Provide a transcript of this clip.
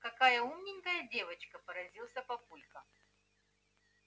какая умненькая девочка поразился папулька